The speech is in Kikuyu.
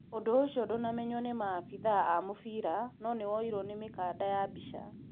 ũndũ ũcio ndũnamenywo nĩ maabĩthaa a mũbĩra no nĩ woirwo nĩ mĩkanda ya mbica